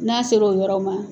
N'a ser'o yɔrɔ ma.